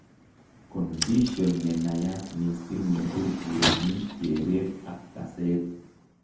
Kondision nenaiyat mising' neburbureni kereet ak kaseet